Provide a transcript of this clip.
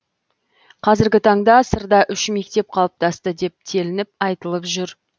қазіргі таңда сырда үш мектеп қалыптасты деп телініп айтылып жүр